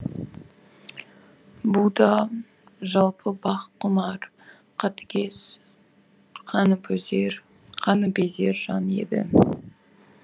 бұ да жалпы бақ құмар қатыгез қаныпезер жан еді